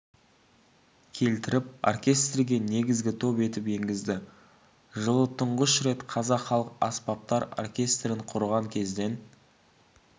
келтіріп оркестрге негізгі топ етіп енгізді жылы тұңғыш рет қазақ халық аспаптар оркестрін құрған кезден